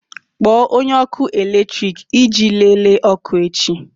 Kpọọ onye ọkụ eletrik iji lelee ọkụ echi!